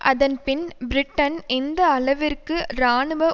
அதன் பின் பிரிட்டன் எந்த அளவிற்கு இராணுவ